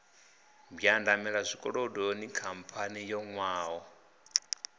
mbwandamela zwikolodoni khamphani yo nwaho